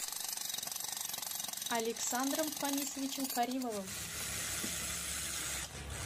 александром фанисовичем каримовым